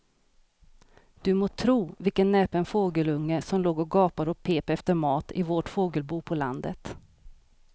Du må tro vilken näpen fågelunge som låg och gapade och pep efter mat i vårt fågelbo på landet.